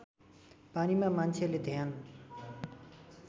पानीमा मान्छेले ध्यान